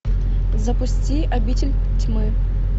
запусти обитель тьмы